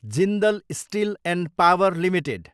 Jindal steel and power limited